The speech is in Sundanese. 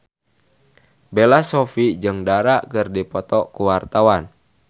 Bella Shofie jeung Dara keur dipoto ku wartawan